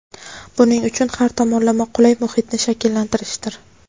buning uchun har tomonlama qulay muhitni shakllantirishdir.